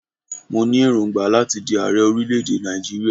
Mo ní èròngbà láti di ààrẹ orílẹ̀-èdè Nàìjíríà.